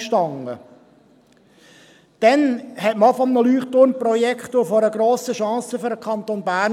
Damals sprach man auch von einem Leuchtturmprojekt und einer grossen Chance für den Kanton Bern.